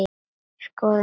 Skoðum dæmi um hana